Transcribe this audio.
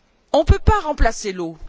On ne peut pas remplacer l'eau.